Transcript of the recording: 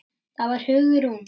Það var Hugrún!